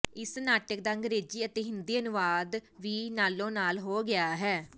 ਇਸ ਨਾਟਕ ਦਾ ਅੰਗਰੇਜ਼ੀ ਅਤੇ ਹਿੰਦੀ ਅਨੁਵਾਦ ਵੀ ਨਾਲੋ ਨਾਲ ਹੋ ਗਿਆ ਹੈ